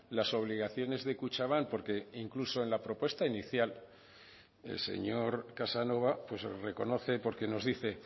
las obligaciones de kutxabank porque incluso en la propuesta inicial el señor casanova reconoce porque nos dice